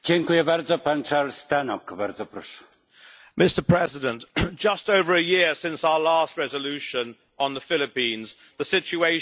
Mr President, just over a year since our last resolution on the Philippines, the situation is, sadly, little changed.